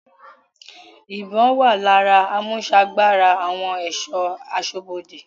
Ìbọn-ọ́n wà lára àmúsagbára àwọn ẹ̀ṣọ́ aṣọ́bodè.